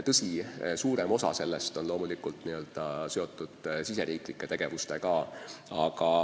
Tõsi, suurem osa sellest on loomulikult mõeldud riigisiseseks tegevuseks.